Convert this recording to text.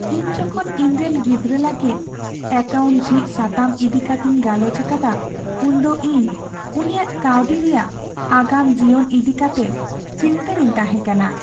ᱤᱧ ᱡᱚᱠᱷᱚᱱ ᱤᱧᱨᱮᱱ ᱜᱤᱫᱽᱨᱟᱹ ᱞᱟᱹᱜᱤᱫ ᱮᱠᱟᱣᱩᱱᱴ ᱡᱷᱤᱡ ᱥᱟᱛᱟᱢ ᱤᱫᱤ ᱠᱟᱛᱤᱧ ᱜᱟᱞᱚᱪ ᱟᱠᱟᱫᱟ, ᱩᱱᱫᱚ ᱤᱧ ᱩᱱᱤᱭᱟᱜ ᱠᱟᱹᱣᱰᱤ ᱨᱮᱭᱟᱜ ᱟᱜᱟᱢ ᱡᱤᱭᱚᱱ ᱤᱫᱤ ᱠᱟᱛᱮ ᱪᱤᱱᱛᱟᱹᱨᱤᱧ ᱛᱟᱦᱮᱸ ᱠᱟᱱᱟ ᱾